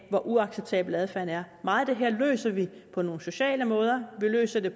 er uacceptabel adfærd meget af det her løser vi på nogle sociale måder vi løser det